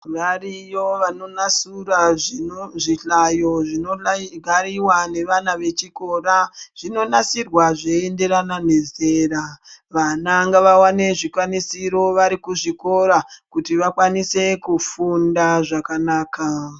Variyo vanonasura zvino zvihlayo zvinonayi gariwa nevana vechikora. Zvinonasirwa zveienderana nezera. Vana ngavawane zvikwanisiro vari kuzvikora, kuti vakwanise kufunda zvakanaka.